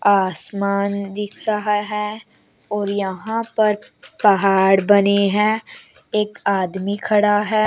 आसमान दिख रहा है और यहां पर पहाड़ बने हैं एक आदमी खड़ा है।